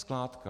Skládka.